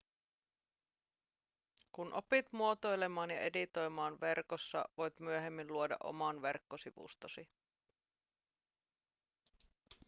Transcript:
kun opit muotoilemaan ja editoimaan verkossa voit myöhemmin luoda oman verkkosivustosi